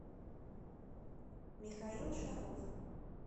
михаил шаров